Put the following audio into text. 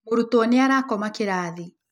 Mũrutwo nĩ arakoma kĩrathi.